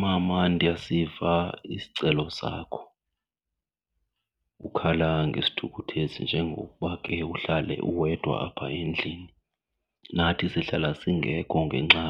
Mama, ndiyasiva isicelo sakho. Ukhala ngesithukuthezi njengokuba ke uhlale uwedwa apha endlini, nathi sihlala singekho ngenxa